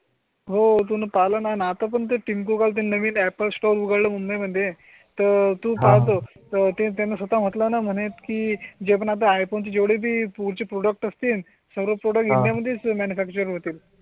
हो तुम पालन आतापर्यंत तीन गूगल ते नवीन अँपल स्टोर उघडला मुंबई मध्ये तर तू पाहतो. त्यांना स्वतः म्हटलं ना म्हणत की जे पण आता हे तुमचे जेवढे पुढची प्रोडक्टस असतील सर्व प्रोडक्ट्स इंडिया मध्ये मानूफॅक्चर होतील.